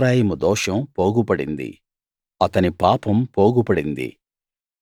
ఎఫ్రాయిము దోషం పోగుపడింది అతని పాపం పోగుపడింది